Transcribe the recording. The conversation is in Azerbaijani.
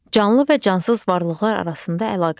Canlı və cansız varlıqlar arasında əlaqələr.